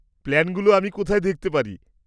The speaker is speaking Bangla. প্ল্যানগুলো আমি কোথায় দেখতে পারি?